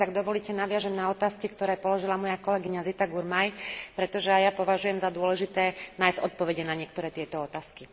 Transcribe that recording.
A teraz, ak dovolíte, nadviažem na otázky, ktoré položila moja kolegyňa Zita Gurmai, pretože aj ja považujem za dôležité nájsť odpovede na niektoré tieto otázky.